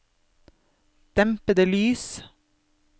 dempede lys